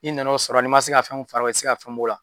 I nana o sɔrɔ n'i ma se ka fɛn fara o kan i te se ka fɛn b'ola